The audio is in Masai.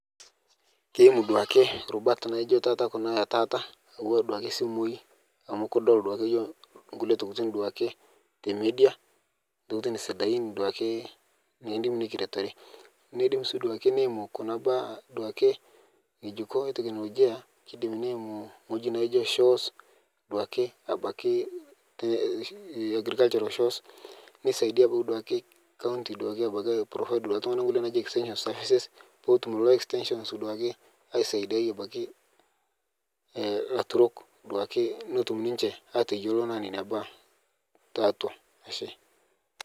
keimu duake rubat naijo taa kuna etaata atuwaa duake simui amu kudol duake yooh nkulie tokitin duake te media ntokitin sidain duake nikindim nikiretore neidim sii duake neimu kuna baa duake nyejuko eteknologia keidim neimu nghoji neijo shows duake abaki agricultural shows neisaidia abaki duake county duake abaki ai provide ltungana nkulie naaji extension services peetum leloo extentionist duake aisaidiai abaki laturok duake netum ninshe ateyolo nenia baa taatua ashee